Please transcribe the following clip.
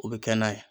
O bɛ kɛ n'a ye